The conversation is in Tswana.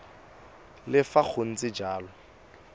le fa go ntse jalo